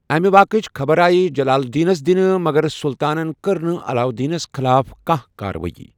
أمہٕ واقَعٕچ خبر آیہِ جلال الدینس دِنہٕ مگر سلطانن کٔر نہٕ علاؤالدینس خلاف کانٛہہ کاروٲئی۔